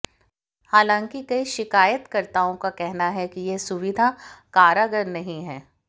हालांकि कई शिकायतकर्ताओं का कहना है कि यह सुविधा कारगर नहीं है